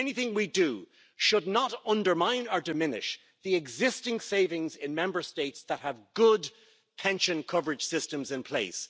Anything we do should not undermine or diminish the existing savings in Member States that have good pension coverage systems in place.